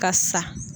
Ka sa